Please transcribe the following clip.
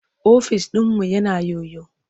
Ofis ɗinmu yana yoyo.